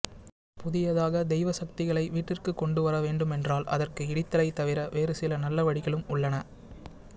புதியதாக தெய்வ சக்திகளை வீட்டிற்கு கொண்டுவர வேண்டுமென்றால் அதற்கு இடித்தலை தவிர வேறு சில நல்ல வழிகளும் உள்ளன